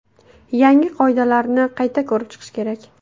Yangi qoidalarni qayta ko‘rib chiqish kerak.